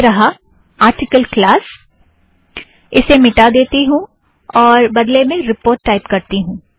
यह रहा - article class - इसे मिटा देती हूँ और बदले में रीपोर्ट टाइप करती हूँ